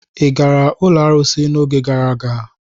Ị gara ụlọ arụsị n'oge gara aga?